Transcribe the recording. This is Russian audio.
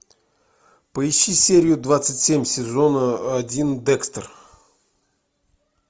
поищи серию двадцать семь сезона один декстер